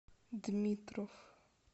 дмитров